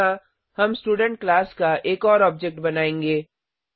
यहाँ हम student class का एक और ऑब्जेक्ट बनायेंगे